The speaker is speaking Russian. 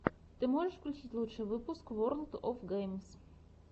ты можешь включить лучший выпуск ворлд оф геймс